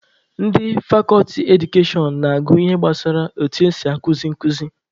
Ndị fakọlti Edukashọn na-agụ ihe gbasara etu esi akuzi nkuzi